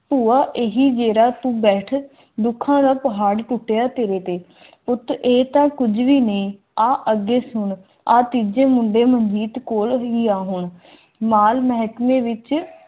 ਭੂਆ ਇਹ ਮੇਰਾ ਤੂੰ ਬੈਠਾ ਦੁੱਖਾਂ ਦਾ ਪਹਾੜ ਟੁੱਟਿਆ ਤੇਰੇ ਤੇ ਉੱਠ ਇਹ ਤਾਂ ਕੁਝ ਵੀ ਨਹੀਂ ਅੱਗੇ ਸੁਣਿਆ ਤਿਨ ਜਮੁ ਦੇ ਮੁੱਖ ਗੇਟ ਕੋਲ ਵੀ ਨਾ ਹੋਣ